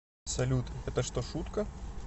салют это что шутка